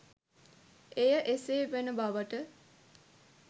එය එසේ වන බවට